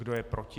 Kdo je proti?